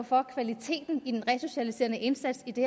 for at kvaliteten af den resocialiserende indsats i det